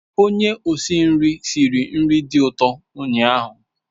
Onye osi nri siri nri dị ụtọ ụnyaahụ.